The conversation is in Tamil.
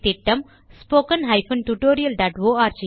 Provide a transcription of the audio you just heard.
இந்த திட்டம் ஸ்போக்கன் tutorialஆர்க் ஆல் ஒருங்கிணைக்கப்படுகிறது